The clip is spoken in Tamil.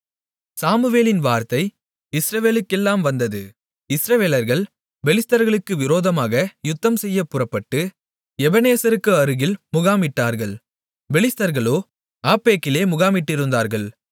சாமுவேலின் வார்த்தை இஸ்ரவேலுக்கெல்லாம் வந்தது இஸ்ரவேலர்கள் பெலிஸ்தர்களுக்கு விரோதமாக யுத்தம்செய்யப்புறப்பட்டு எபெனேசருக்கு அருகில் முகாமிட்டார்கள் பெலிஸ்தர்களோ ஆப்பெக்கிலே முகாமிட்டிருந்தார்கள்